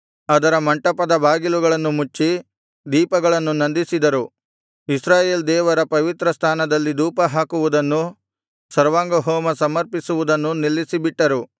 ಅದರ ಮಂಟಪದ ಬಾಗಿಲುಗಳನ್ನು ಮುಚ್ಚಿ ದೀಪಗಳನ್ನು ನಂದಿಸಿದರು ಇಸ್ರಾಯೇಲ್ ದೇವರ ಪವಿತ್ರ ಸ್ಥಾನದಲ್ಲಿ ಧೂಪಹಾಕುವುದನ್ನೂ ಸರ್ವಾಂಗಹೋಮ ಸಮರ್ಪಿಸುವುದನ್ನೂ ನಿಲ್ಲಿಸಿಬಿಟ್ಟರು